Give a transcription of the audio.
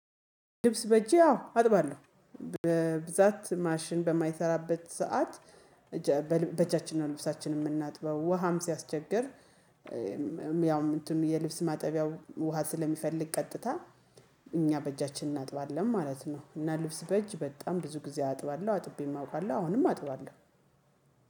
ልብስ በእጄ አዎ አጥባለሁ በብዛት ማሽን በማይሰራበት ሰዓት በእጃችንና ነው ልብሳችንን የምናጥበው ውሃም ሲያስቸግር ያውም እንትኑ የልብስ ማጠቢያው ውሃ ስለሚፈልግ ቀጥታ እኛ በእጃችን እናጥባለን ማለት ነው። እና ልብስ በእጅ በጣም ብዙ ጊዜ አጥባለሁ አጥቤም አውቃለሁ አሁንም አጥባለሁ።